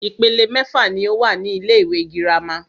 Ìpele mẹ́fà ní o wà ní ilé ìwé gírámà.